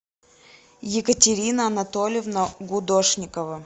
екатерина анатольевна гудошникова